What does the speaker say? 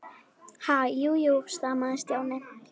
Ha- jú, jú stamaði Stjáni.